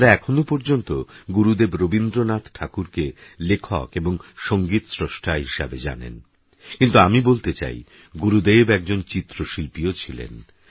আপনারাএখনওপর্যন্তগুরুদেবরবীন্দ্রনাথঠাকুরকেলেখকএবংসংগীতশ্রষ্টাহিসেবেইজানেন কিন্তুআমিবলতেচাইগুরুদেবএকজনচিত্রশিল্পীওছিলেন